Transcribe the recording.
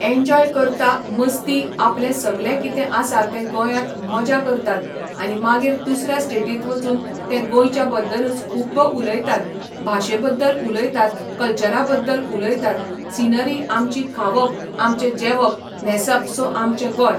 enjoy करता मस्ती आपलें सगलें कितें आसा तें गोंयांत मजां करतात आनी मागीर दुसऱ्या स्टेटींत वचून तें गोंयच्या बद्दलूच खुब्ब उलयतात भाशे बद्दल उलयतात कल्चरा बद्दल उलयतात सिनरी आमची खावप आमचें जेवप न्हेंसप सो आमचें गोंय